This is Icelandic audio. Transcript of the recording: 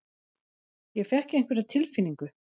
Ég fékk einhverja tilfinningu.